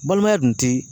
Balimaya dun ti